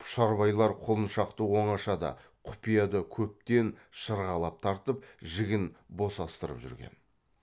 пұшарбайлар құлыншақты оңашада құпияда көптен шырғалап тартып жігін босастырып жүрген